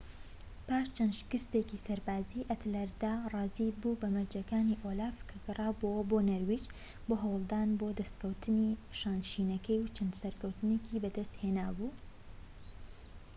پاش چەند شکستێکی سەربازی ئەتەلرەد ڕازیی بوو بە مەرجەکانی ئۆلاف کە گەرابۆوە بۆ نەرویج بۆ هەولدان بۆ دەستکەوتنی شانشینەکەی و چەند سەرکەوتنێکی بەدەستهێنابوو